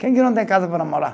Quem que não tem casa para morar?